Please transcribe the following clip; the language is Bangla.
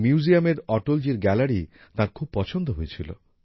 এই মিউজিয়ামে অটলজির গ্যালারি তাঁর খুব পছন্দ হয়েছিল